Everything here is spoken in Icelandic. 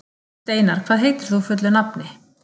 Steinar, hvað heitir þú fullu nafni?